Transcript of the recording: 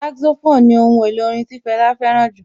Saxophone ni ohun èlò orin tí Fẹlá fẹ́ràn jù